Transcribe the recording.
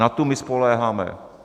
Na tu my spoléháme.